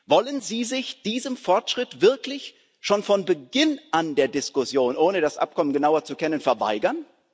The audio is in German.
Wollen Sie sich diesem Fortschritt wirklich schon von Beginn der Diskussion an, ohne das Abkommen genauer zu kennen, verweigern?